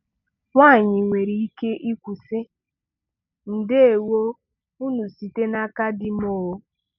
Nwanyị nwere ike ikwu, sị: “ndewo unu site n’aka di m ooo.”